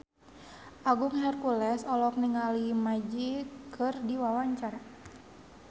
Agung Hercules olohok ningali Magic keur diwawancara